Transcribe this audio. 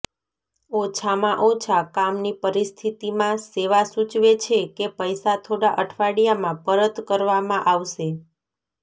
ઓછામાં ઓછા કામની પરિસ્થિતિમાં સેવા સૂચવે છે કે પૈસા થોડા અઠવાડિયામાં પરત કરવામાં આવશે